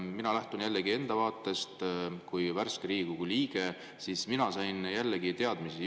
Mina kui värske Riigikogu liige lähtun jällegi enda vaatest.